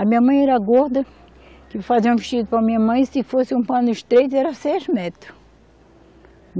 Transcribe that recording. A minha mãe era gorda, que fazia um vestido para minha mãe, se fosse um pano estreito, era seis metros.